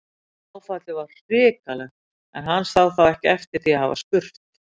Áfallið var hrikalegt, en hann sá þó ekki eftir því að hafa spurt.